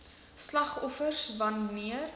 slagoffers wan neer